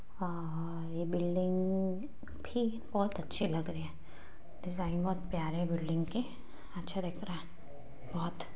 हाँ हाँ ये बिल्डिंग भी बहुत अच्छे लग रहे है डिजाइन बहुत प्यारे बिल्डिंग के अच्छा दिख रहा है बहुत--